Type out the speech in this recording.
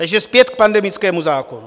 Takže zpět k pandemickému zákonu.